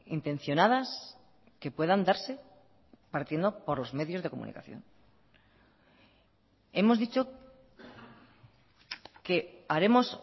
intencionadas que puedan darse partiendo por los medios de comunicación hemos dicho que haremos